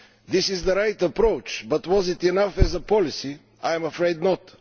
This is the right approach, but was it enough as a policy? I am afraid not.